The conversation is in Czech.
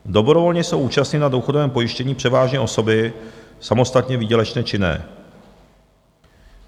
"Dobrovolně jsou účastny na důchodovém pojištění převážně osoby samostatně výdělečně činné.